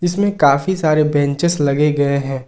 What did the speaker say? इसमें काफी सारे बेंचेस लगे गए हैं।